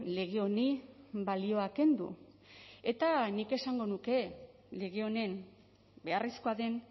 lege honi balioa kendu eta nik esango nuke lege honen beharrezkoa den